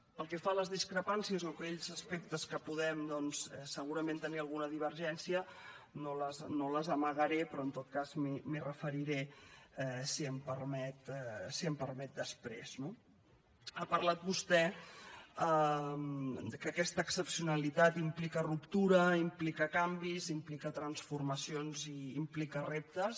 pel que fa a les discrepàncies o a aquells aspectes en els quals podem doncs segurament tenir alguna divergència no les amagaré però en tot cas m’hi referiré si m’ho permet després no ha parlat vostè que aquesta excepcionalitat implica ruptura implica canvis implica transformacions i implica reptes